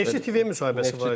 Neftçi TV-yə müsahibəsi var idi.